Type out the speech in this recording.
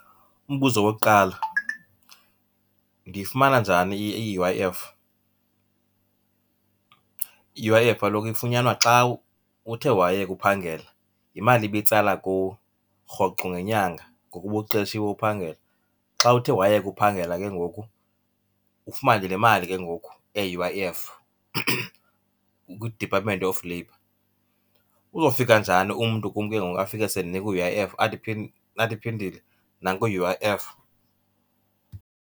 Umbuzo wokuqala, ndiyifumana njani i-U_I_F? I-U_I_F kaloku ifunyanwa xa uthe wayeka uphangela, yimali ibitsala kuwe rhoqo ngenyanga ngoku ubuqeshiwe uphangela. Xa uthe wayeka uphangela ke ngoku ufumane le mali ke ngoku eyi-U_I_F kwiDepartment of Labour. Uzofika njani umntu kum ke ngoku afike sendinika u-U_I_F, athi Phindile nanku u-U_I_F?